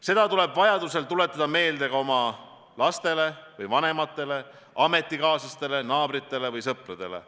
Seda tuleb vajadusel tuletada meelde ka oma lastele ja vanematele, ametikaaslastele, naabritele ja sõpradele.